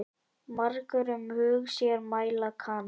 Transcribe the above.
Margur um hug sér mæla kann.